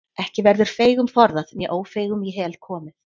Ekki verður feigum forðað né ófeigum í hel komið.